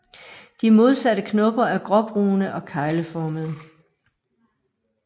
De modsatte knopper er gråbrune og kegleformede